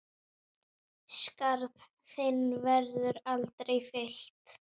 Skarð þinn verður aldrei fyllt.